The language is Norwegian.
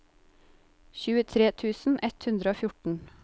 tjuetre tusen ett hundre og fjorten